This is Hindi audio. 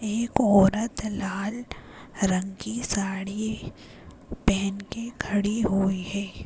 एक औरत लाल रंग की साड़ी पहन के खड़ी हुई है।